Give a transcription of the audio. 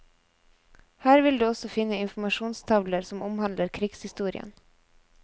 Her vil du også finne informasjonstavler som omhandler krigshistorien.